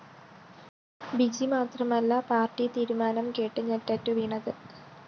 B G മാത്രമല്ല party തീരുമാനം കേട്ട് ഞെട്ടറ്റുവീണത്